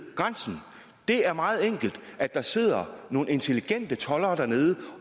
grænsen det er meget enkelt at der sidder nogle intelligente toldere dernede